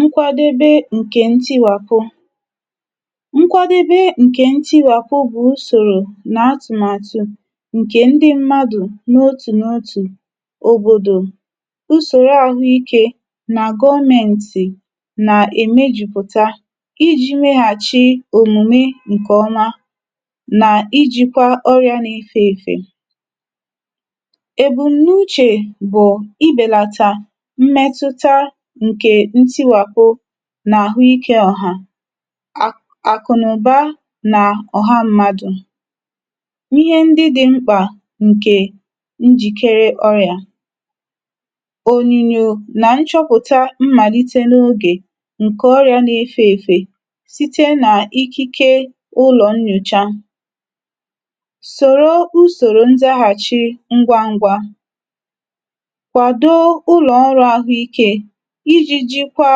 nkwadebe ǹkẹ̀ ntiwàpụ. nkwadebe ǹkẹ̀ ntiwàpụ bụ̀ usòrò nà atụ̀màtụ̀ ǹkè ndị mmadù n’otù n’otù, òbòdò, usòro ahụ ikē, nà gọmẹǹtị̀ nà èmejùpụ̀ta ijī mẹghàchi òmùme ǹkẹ̀ ọma, nà ijīkwa ọrịa na efē èfè. èbum̀nuchè bụ̀ ibèlata mmẹtụta ǹkè ntiwàpụ n’àhụikē ọ̀hà. àkụ̀nụ̀ba nà ọ̀ha mmadù, ihe ndị dị mkpà ǹkè njìkere oya. ònyìnyò nà nchọpụ̀ta mmàlite n’ogè ǹkẹ̀ ọrịā na efē èfè, site nà ikike ụlọ̀ nyòcha. sòro usòrò ndaghàchi ngwa ngwa, kwado ụlọ̀ ọrụ̄ àhụ ikē, ijī jikwa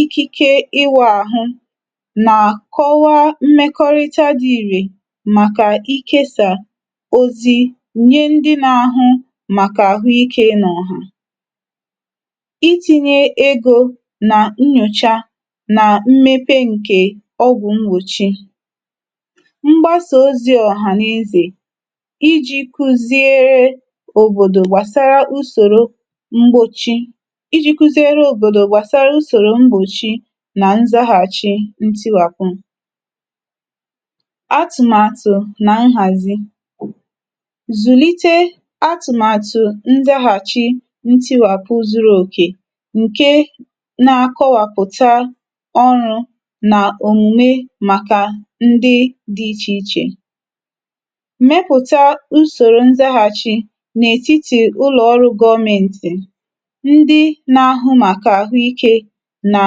ikike ịwụ̄ àhụ, nà kọwa mmẹkọrịta dị̄ ìrè, màkà ikesà ozi nye ndị na ahụ màkà àhụ ikē n’ọ̀hà. itīnye egō nà nyòcha, nà mmepe ǹkè ọgwụ̀ mgbòchi. mgbasà ozī ọ̀hànezè, ijī kuziere òbòdò gbàsara mgbòchi, ijī kuziere òbòdò gbàsara mgbòchi, nà nzaghàchị ntiwàpụ. atụ̀màtụ̀ nà nhàzi, zùlite atụ̀màtụ̀ ndaghàchi ntiwapụ zuru òkè, ǹke na akọwàpụ̀ta ọrụ̄ nà òmùme màkà ndị dị ichè ichè. mẹpụta usòrò ndaghàchi n’ètitì ụlọ̀ ọrụ̄ gọmẹǹtị̀, ndị na ahụ màkà àhụ ikē, nà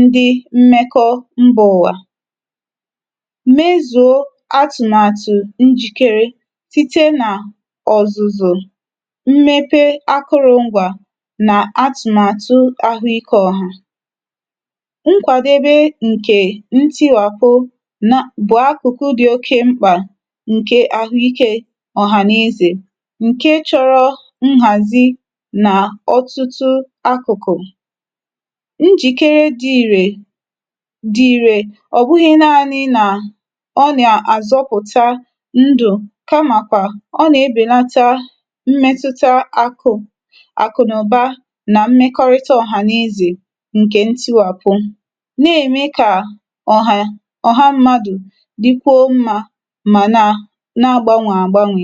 ndị mmẹkọ ndị mbā ụ̀wà. mezùo atụ̀màtụ̀ njìkere, site nà ọ̀zụ̀zụ̀, mmepe akụrụ̄ngwā, nà atụ̀màtụ̀ ahụ ikē ọ̀hà. nkwàdebe ǹkè ntiwàpụ nab ụ̀ akụ̀kụ dị oke mkpà, ǹke àhụ ikē ọ̀hànezè, ǹke chọrọ nhàzi na ọtụtụ akụ̀kụ̀. njìkere dị̄ ìrè, dị̀ ìrè, ọ̀ bụghị naānị nà ọ nà àzọpụ̀ta ndụ̀, kama kwà, ọ nà ebèlata àkụ̀, àkụnụ̀ba, nà mmẹkọrịta ọ̀hànezè, ǹkẹ̀ ntiwàpụ. nà ème kà ọ̀hà, ọ̀ha mmadù dikwuo mmā, mà nà na agbanwè àgbanwè.